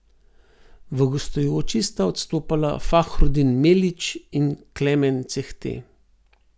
V gostujoči sta odstopala Fahrudin Melić in Klemen Cehte.